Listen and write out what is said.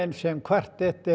sem kvartett eru